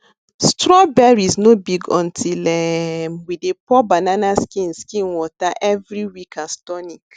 strawberries no big until um we dey pour banana skin skin water every week as tonic